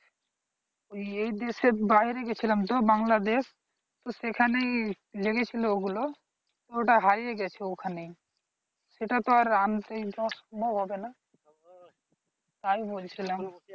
এই দেশের বাইরে গেছিলাম দূর বাংলাদেশ সেখানে লেগেছিল ওগুলো, ওটা হারিয়ে গেছে ওখানেই, সেটা তো আর আনতে যাওয়া সম্ভব হবে না তাই বলছিলাম।